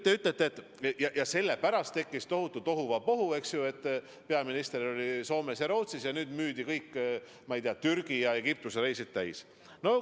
Te ütlete, et sellepärast tekkis tohutu tohuvabohu, et peaminister oli Soomes ja Rootsis ning nüüd müüdi kõik Türgi ja Egiptuse reisid välja.